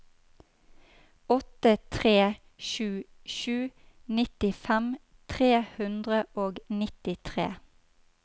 åtte tre sju sju nittifem tre hundre og nittitre